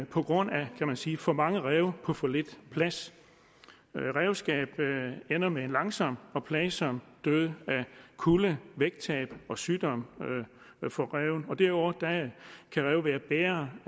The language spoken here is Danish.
på grund af kan man sige for mange ræve på for lidt plads ræveskab ender med en langsom og plagsom død af kulde vægttab og sygdom for ræven og derudover kan ræven være bærer